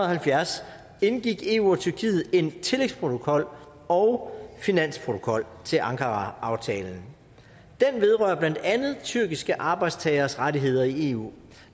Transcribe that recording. halvfjerds indgik eu og tyrkiet en tillægsprotokol og finansprotokol til ankaraaftalen den vedrører blandt andet tyrkiske arbejdstageres rettigheder i eu